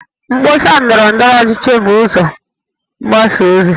Mkpọsa ndọrọ ndọrọchi bụ ụzọ mgbasa ozi